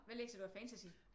Hvad læser du af fantasy?